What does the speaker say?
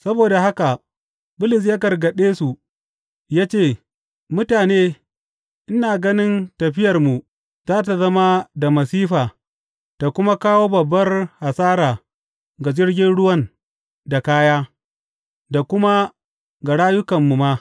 Saboda haka Bulus ya gargaɗe su, ya ce, Mutane, ina gani tafiyarmu za tă zama da masifa ta kuma kawo babbar hasara ga jirgin ruwan da kaya, da kuma ga rayukanmu ma.